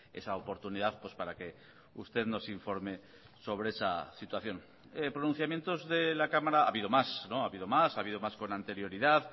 esa oportunidad para que usted nos informe sobre esa situación pronunciamientos de la cámara ha habido más ha habido más ha habido más con anterioridad